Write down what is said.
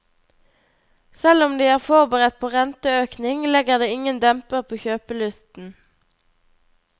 Selv om de er forberedt på renteøkning, legger det ingen demper på kjøpelysten.